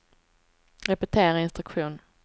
repetera instruktion